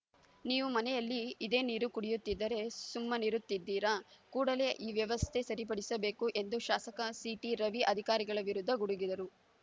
ನೀವು ಮನೆಯಲ್ಲಿ ಇದೇ ನೀರು ಕುಡಿಯುತ್ತಿದ್ದರೆ ಸುಮ್ಮನಿರುತ್ತಿದ್ದೀರಾ ಕೂಡಲೇ ಈ ಅವ್ಯವಸ್ಥೆ ಸರಿಪಡಿಸಬೇಕು ಎಂದು ಶಾಸಕ ಸಿಟಿ ರವಿ ಅಧಿಕಾರಿಗಳ ವಿರುದ್ಧ ಗುಡುಗಿದರು